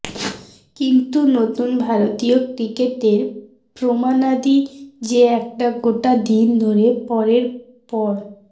কিন্তু নতুন ভারতীয় ক্রিকেটের প্রমাণাদি যে একটা গোটা দিন ধরে পরের পর